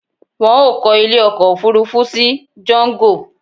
Wọn ó kọ ilé ọkọ̀ Òfurufú sí jango